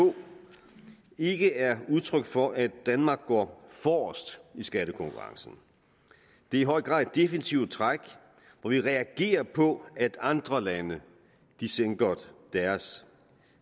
ikke er udtryk for at danmark går forrest i skattekonkurrencen det er i høj grad et defensivt træk hvor vi reagerer på at andre lande sænker deres